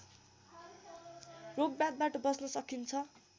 रोगब्याधबाट बच्न सकिन्छ